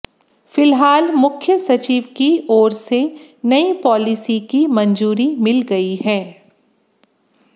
फिलहाल मुख्य सचिव की ओर से नई पॉलिसी को मंजूरी मिल गई है